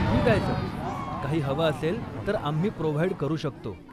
ठीक आहे सर, काही हवं असेल तर आम्ही प्रोव्हाइड करू शकतो.